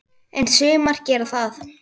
En sumar gera það.